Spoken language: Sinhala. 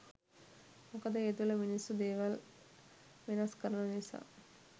මොකද ඒ තුළ මිනිස්සු දේවල් වෙනස් කරන නිසා.